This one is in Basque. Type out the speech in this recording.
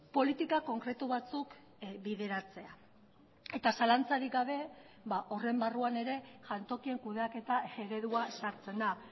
politika konkretu batzuk bideratzea eta zalantzarik gabe horren barruan ere jantokien kudeaketa eredua sartzen da